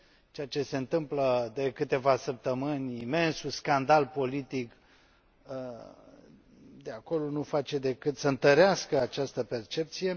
Ceea ce se întâmplă de câteva săptămâni imensul scandal politic de acolo nu face decât să întărească această percepție.